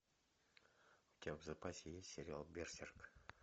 у тебя в запасе есть сериал берсерк